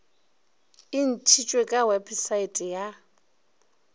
e ntšitšwe ka wepesaete ya